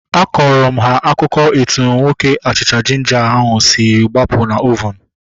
Akọrọ m ha akụkọ etu nwoke achịcha jinja ahu si gbapụ na ovunu